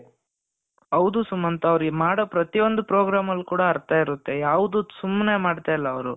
ಹೌದು ಸುಮಂತ್ ಅವ್ರ್ ಮಾಡೋ ಪ್ರತಿಯೊಂದು program ಅಲ್ಲೂ ಕೂಡ ಅರ್ಥ ಇರುತ್ತೆ ಯಾವುದು ಸುಮ್ನೆ ಮಾಡ್ತಾ ಇಲ್ಲ ಅವರು.